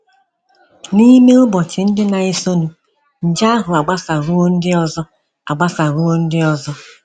N’ime ụbọchị ndị na - esonụ, nje ahụ agbasaruo ndị ọzọ agbasaruo ndị ọzọ.